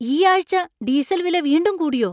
ഈ ആഴ്ച ഡീസൽ വില വീണ്ടും കൂടിയോ ?